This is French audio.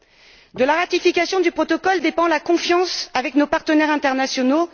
C'est de la ratification du protocole dépend la confiance avec nos partenaires internationaux.